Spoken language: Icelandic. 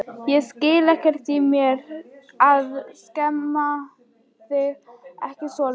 Ég skil ekkert í mér að skamma þig ekki svolítið.